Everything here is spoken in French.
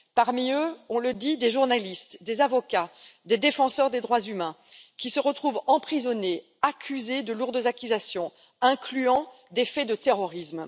Parmi elles, on le dit, des journalistes, des avocats, des défenseurs des droits humains qui se retrouvent emprisonnés, accablés de lourdes accusations, incluant des faits de terrorisme.